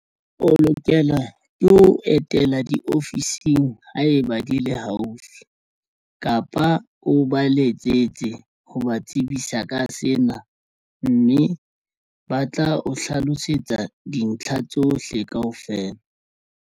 O lokela ke ho etela diofising ha e ba di le haufi kapa o ba letsetse ho ba tsebisa ka sena mme ba tla o hlalosetsa dintlha tsohle kaofela.